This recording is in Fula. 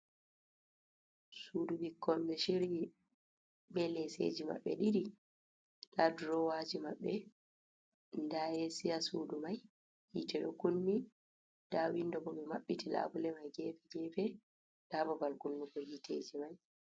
Sudu ɓikkkon ɓe shiryi be leseji maɓɓe ɗiɗi, nda durowaji maɓɓe nda esi ha sudu mai, yitte ɗo kunni, nda windo bo ɓe maɓɓiti labule mai gefe gefe, nda babal kunnugo hitteji mai.